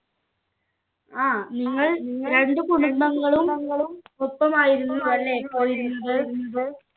ആ നിങ്ങൾ രണ്ട് കുടുംബങ്ങളും ഒപ്പം ആയിരുന്നു അല്ലെ പോയിരുന്നത്